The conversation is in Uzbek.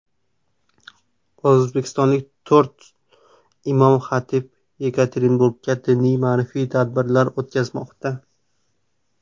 O‘zbekistonlik to‘rt imom-xatib Yekaterinburgda diniy-ma’rifiy tadbirlar o‘tkazmoqda.